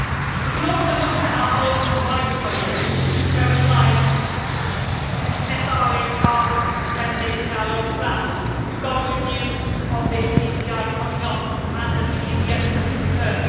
We can also look at our own wider funding and prioritise SRHR spending in our own plans. We have got a review of the DCI coming up and of the EDF in the mid-term.